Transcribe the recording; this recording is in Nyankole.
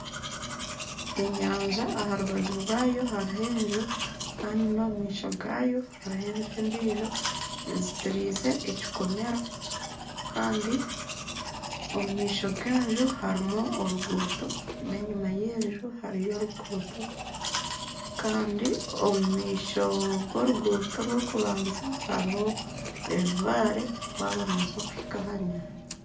Enyanja aha rubaju rwayo hariho enju kandi n'omu maisho gaayo hariho enju endijo ezitiriize ekikomera. Kandi omu maisho g'enju harimu oruguuto n'enyima y'enju hariyo oruguuto. Kandi omu maisho g'oruguuto orw'okubanza hariho ebibaare waaba nooza kuhika aha nyanja.